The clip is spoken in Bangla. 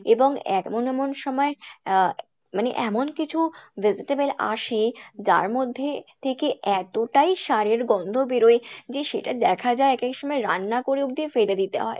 এবং এমন এমন সময়, আহ মানে এমন কিছু vegetable আসে যার মধ্যে থেকে এতটাই সারের গন্ধ বেরোয় যে সেটা দেখা যায় এক এক সময় রান্না করে অবধি ফেলে দিতে হয়